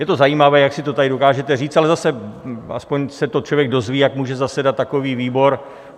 Je to zajímavé, jak si to tady dokážete říct, ale zase aspoň se to člověk dozví, jak může zasedat takový výbor.